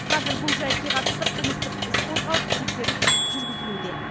қазір бұл жәйтке қатысты қылмыстық іс қозғалып тексеріс жүргізілуде